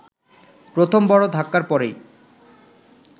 প্রথম বড় ধাক্কার পরেই